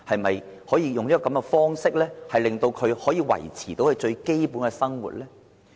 我們可否用這種方法，令他們得以維持最基本生活？